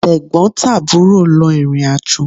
Tẹ̀gbọ́n tàbúrò lọ ìrìnàjò